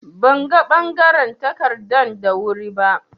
Ban ga bangaren takardan da wuri ba.